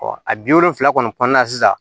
a bi wolonfila kɔni kɔnɔna na sisan